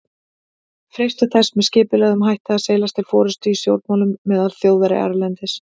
freistað þess með skipulegum hætti að seilast til forystu í stjórnmálum meðal Þjóðverja erlendis.